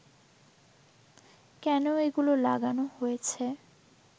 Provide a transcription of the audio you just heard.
কেন এগুলো লাগানো হয়েছে